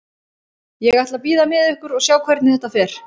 Ég ætla að bíða með ykkur og sjá hvernig þetta fer.